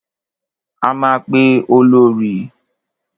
A máa pe Olorì.